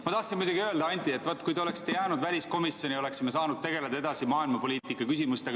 Ma tahtsin öelda, Anti, et vaat kui te oleksite jäänud väliskomisjoni, oleksime saanud tegeleda edasi maailmapoliitika küsimustega.